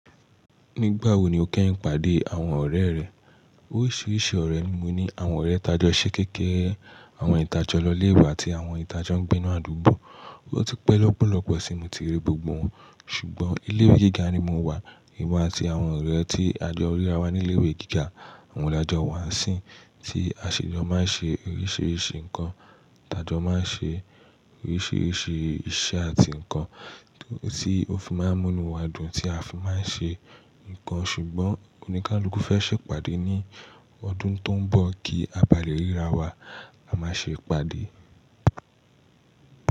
Nígbà wo ni o kẹ́yìn pàdé àwọn ọ̀rẹ́ rẹ? Óriṣirisi ọ̀rẹ́ ni mo ní, àwọn ọ̀rẹ́ tajọ́ ṣẹ́ kékeré, àwọn hin ta jo lọléiwe àti àwọn hin tajo ń gbé inú àdúgbò. O ti pẹ́ lọ́pọ̀lọ́pọ̀ tí mo ti rí gbogbo wọn, ṣùgbọ́n ilé ìwé gíga ni mo wà, èmi àti àwọn ọ̀rẹ́ tí a jọ ríra wa ní ilé ìwé gíga. Oun lajọ́ wa sìn tí aṣèjọ máa ń ṣe oríṣiríṣi nǹkan, tajo máa ń ṣe oríṣiríṣi iṣẹ́ àti nǹkan tí ó fi máa ń mú inú wa dùn, tí a fi máa ń ṣe nǹkan ṣùgbọ́n oníkálukú fẹ́ ṣèpàdé ní ọdún tó ń bọ̀ kí a bá lè ríra wa, a máa ṣe ìpàdé.